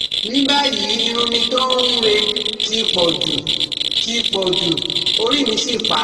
ní báyìí irun mi tó ń re ti pọ̀jù, ti pọ̀jù, orí mì sì pá